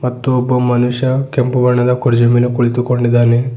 ಮತ್ತು ಒಬ್ಬ ಮನುಷ್ಯ ಕೆಂಪು ಬಣ್ಣದ ಕುರ್ಚಿಯ ಮೇಲೆ ಕುಳಿತುಕೊಂಡಿದ್ದಾನೆ.